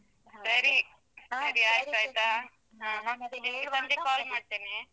ಸರಿ, ಸರಿ ಆಯ್ತಯ್ತಾ. ಹಾ, ಮತ್ತೆ ಬೇಗ ಬಂದ್ರೆ call ಮಾಡ್ತೇನೆ.